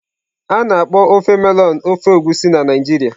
A na-akpọ ofe melọnụ ofe Egusi na Naijiria.